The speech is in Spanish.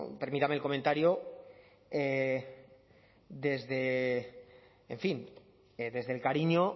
permítanme el comentario desde el cariño